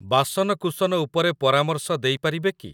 ବାସନକୁସନ ଉପରେ ପରାମର୍ଶ ଦେଇ ପାରିବେ କି?